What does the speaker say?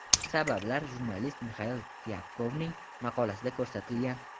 Sabablar jurnalist Mixail Tyapkovning maqolasida ko‘rsatilgan.